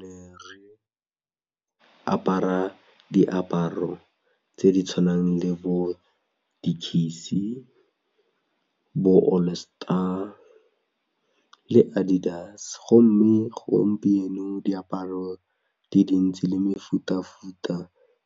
Ne re apara diaparo tse di tshwanang le bo Dickies, di-All Star le Adidas gomme gompieno diaparo di dintsi le mefutafuta